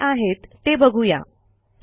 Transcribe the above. त्या काय आहेत ते बघू या